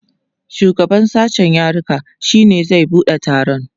shugaban sashen yaruka shine zai buɗe taron